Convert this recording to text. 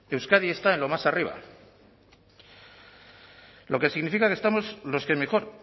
euskadi está en lo más arriba lo que significa que estamos los que mejor